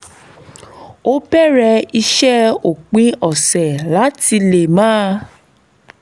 ó bẹ̀rẹ̀ iṣẹ́ òpin ọ̀sẹ̀ láti lè máa